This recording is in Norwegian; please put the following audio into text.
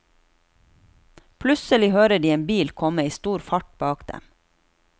Plutselig hører de en bil komme i stor fart bak dem.